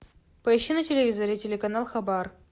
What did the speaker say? поищи на телевизоре телеканал хабар